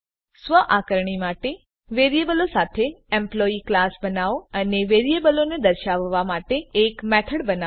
સ્વ આકારણી માટે વેરીએબલો સાથે એમ્પ્લોયી ક્લાસ બનાઓ અને વેરીએબલોને દર્શાવવા માટે એક મેથડ બનાવો